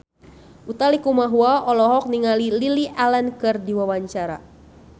Utha Likumahua olohok ningali Lily Allen keur diwawancara